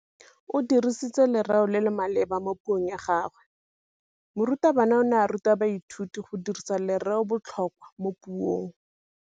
O dirisitse lerêo le le maleba mo puông ya gagwe. Morutabana o ne a ruta baithuti go dirisa lêrêôbotlhôkwa mo puong.